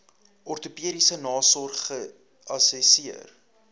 ortopediese nasorg geassesseer